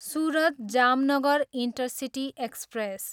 Surat, Jamnagar intercity express